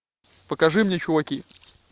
покажи мне чуваки